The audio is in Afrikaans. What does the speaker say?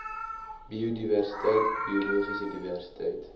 biodiversiteit biologiese diversiteit